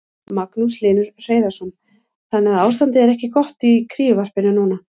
Magnús Hlynur Hreiðarsson: Þannig að ástandið er ekki gott í kríuvarpinu núna?